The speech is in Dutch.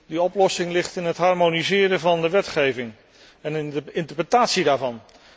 Die oplossing ligt in het harmoniseren van de wetgeving en in de interpretatie daarvan.